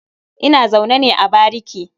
Ina zaune ne a bariki.